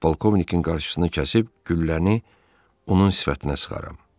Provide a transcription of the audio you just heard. polkovnikin qarşısını kəsib gülləni onun sifətinə sıxaram.